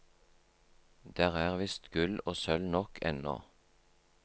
Der er visst gull og sølv nok ennå.